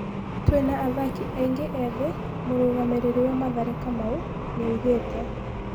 "Twĩna athaki aingĩ ethĩ" mũrũgamĩriri wa Mathare Kamau nĩaugĩte.